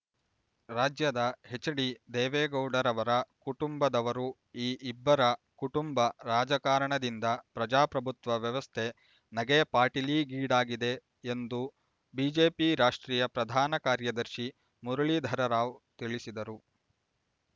ರಾಜ್ಯದ ಹೆಚ್ಡಿ ದೇವೇಗೌಡರವರ ಕುಟುಂಬದವರು ಈ ಇಬ್ಬರ ಕುಟುಂಬ ರಾಜಕಾರಣದಿಂದ ಪ್ರಜಾಪ್ರಭುತ್ವ ವ್ಯವಸ್ಥೆ ನಗೆಯ ಪಾಟೀಲಿಗೀಡಾಗಿದೆ ಎಂದು ಬಿಜೆಪಿ ರಾಷ್ಟ್ರೀಯ ಪ್ರಧಾನ ಕಾರ್ಯದರ್ಶಿ ಮುರಳೀಧರ ರಾವ್ ತಿಳಿಸಿದರು